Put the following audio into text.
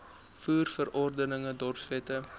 voer verordeninge dorpswette